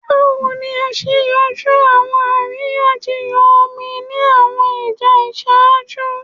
Bawo ni a ṣe yanju awọn ariyanjiyan omi ni awọn ija iṣaaju?